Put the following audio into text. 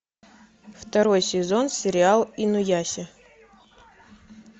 второй сезон сериал инуяся